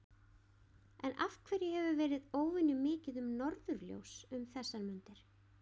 Af hverju hefur verið óvenju mikið um norðurljós um þessar mundir?